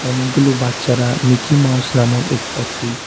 অনেকগুলো বাচ্চারা Mickey Mouse নামক এক একটি--